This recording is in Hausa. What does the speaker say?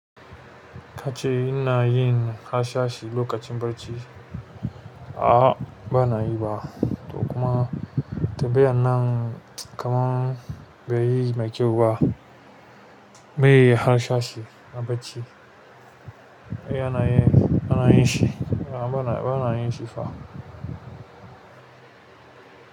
Kace ina yin harsashi lokacin barci? A'a, ba na yi ba. To kuma, tunda yanan kaman bai yi mai kyau ba, bai yi harsashi a bacci. Ai ana yin, ana yin shi. A'a ba na, ba na yin shi fa.